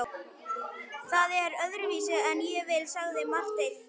Það er öðruvísi en ég vil, sagði Marteinn.